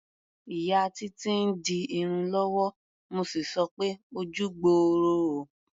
Ìyá Títí ń di irun lọ́wọ́, mo sì sọ pé "ojú gbooro o".